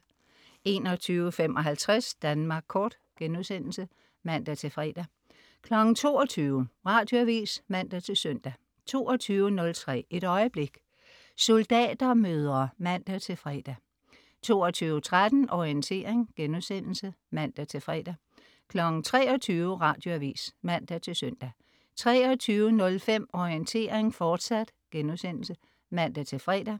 21.55 Danmark Kort* (man-fre) 22.00 Radioavis (man-søn) 22.03 Et øjeblik. Soldatermødre (man-fre) 22.13 Orientering* (man-fre) 23.00 Radioavis (man-søn) 23.05 Orientering, fortsat* (man-fre)